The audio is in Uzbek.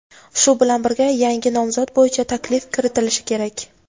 shu bilan birga yangi nomzod bo‘yicha taklif kiritilishi kerak.